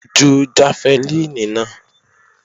Ju jafẹlíìnì náà!